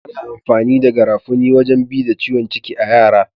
Ana amfani da garafuni wajen bi da ciwon ciki a'yara.